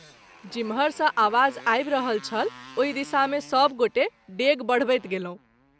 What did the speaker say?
जिमहर सँ आवाज आबि रहल छल ओहि दिशा मे सभ गोटे डेग बढबैत गेलहुँ।